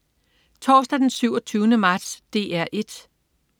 Torsdag den 27. marts - DR 1: